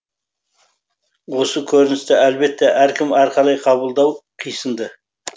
осы көріністі әлбетте әркім әрқалай қабылдауы қисынды